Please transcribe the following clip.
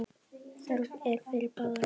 Þörf er fyrir báðar gerðir.